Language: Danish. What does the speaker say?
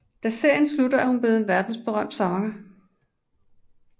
Da serien slutter er hun blevet en verdensberømt sanger